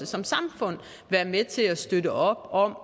som samfund kan være med til at støtte op om